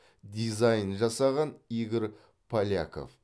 дизайнын жасаған игорь поляков